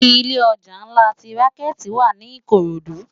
Ilé òjá nlá ti ránkèti wá ni ikorodu